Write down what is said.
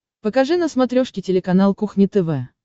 покажи на смотрешке телеканал кухня тв